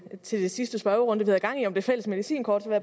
jeg til den sidste spørgerunde vi havde gang i om det fælles medicinkort